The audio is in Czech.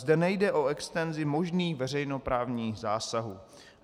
Zde nejde o extenzi možných veřejnoprávních zásahů.